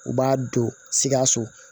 U b'a don sikaso